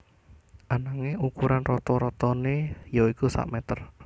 Ananging ukuran rata ratané yaitu sak mèter